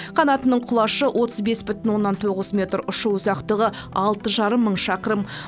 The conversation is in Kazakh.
қанатының құлашы отыз бес бүтін оннан тоғыз метр ұшу ұзақтығы алты жарым мың шақырым